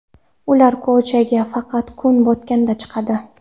Ular ko‘chaga faqat kun botganda chiqadi.